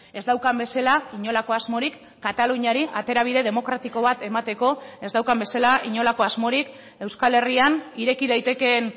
ez daukan bezala inolako asmorik kataluniari aterabide demokratiko bat emateko ez daukan bezala inolako asmorik euskal herrian ireki daitekeen